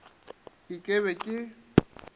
e ke ke be ke